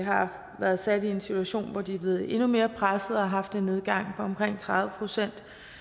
har været sat i en situation hvor de er blevet endnu mere presset og har haft en nedgang på omkring tredive procent